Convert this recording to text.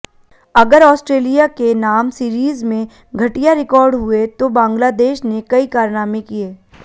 अगर ऑस्ट्रेलिया के नाम सीरीज में घटिया रिकॉर्ड हुए तो बांग्लादेश ने कई कारनामे किए